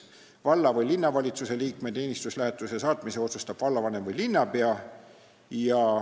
Valla- või linnavalitsuse liikme teenistuslähetusse saatmise otsustab vallavanem või linnapea.